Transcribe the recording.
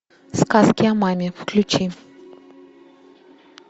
сказки о маме включи